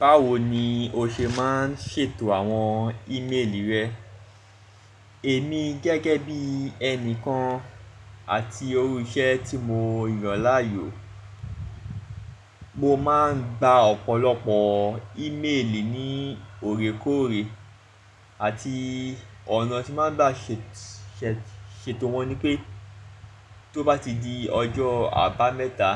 Báwo ni o ṣe máa ń ṣètò àwọn ímeèlì rẹ? Èmi gẹ́gẹ́ bí ẹni kan àti iru iṣẹ́ tí mo yàn láàyò, mo máa ń gba ọ̀pọ̀lọpọ̀ ímeèlì ní òrékòóre àti ọ̀nà tí máa ń bá ṣètò wọn ni pé tó bá ti di ọjọ́ àbámẹ́ta,